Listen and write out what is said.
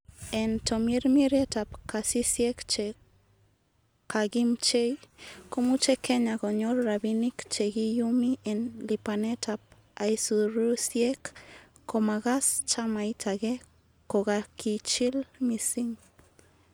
En tomirmirietab kasisiek che kakimchei, komuche kenya konyor rabinik chekiyumi en lipanetab aisurusiek komagas chamait age kokakichil mising.